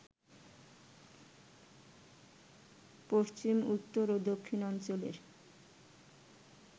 পশ্চিম, উত্তর ও দক্ষিণাঞ্চলের